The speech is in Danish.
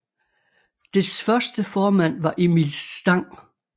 Dets første formand var Emil Stang